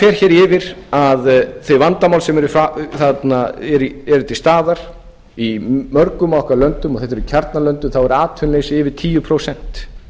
hér yfir þau vandamál sem eru til staðar í mörgum okkar löndum og þetta eru kjarnalöndin og þá er atvinnuleysi yfir tíu prósent